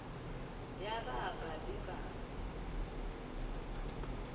eo ba be ba be